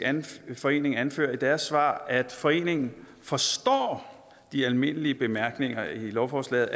forening anfører i deres svar at foreningen forstår de almindelige bemærkninger i lovforslaget